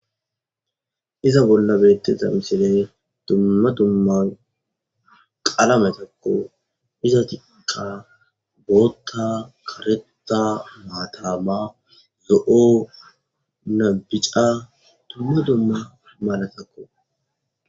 iza bolla bettiza misiley tumma dumma qalametakko iza tika bootta kareta maatama yo7o nabica tumma dumma malatakko